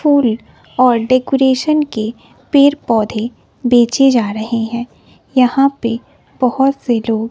फूल और डेकोरेशन के पेड़ पौधे बेचे जा रहे हैं यहां पे बहोत से लोग--